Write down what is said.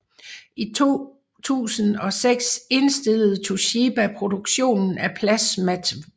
I 2006 indstillede Toshiba produktionen af plasmatv